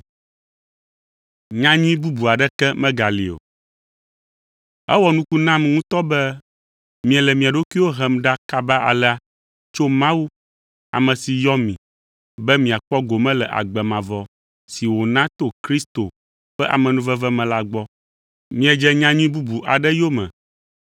Ewɔ nuku nam ŋutɔ be miele mia ɖokuiwo hem ɖa kaba alea tso Mawu, ame si yɔ mi be miakpɔ gome le agbe mavɔ si wòna to Kristo ƒe amenuveve me la gbɔ. Miedze nyanyui bubu aɖe yome,